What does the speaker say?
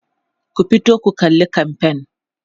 ku fito ku kalla kamfain!